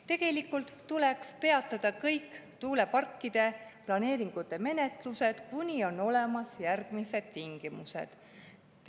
Tegelikult tuleks peatada kõik tuuleparkide planeeringute menetlused, kuni on järgmised tingimused.